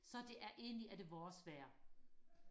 så det er egentlig er det vores vejr